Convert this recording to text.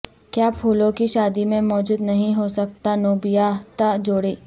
کیا پھولوں کی شادی میں موجود نہیں ہو سکتا نوبیاہتا جوڑے